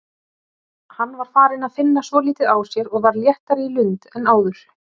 Hann var farinn að finna svolítið á sér og var léttari í lund en áður.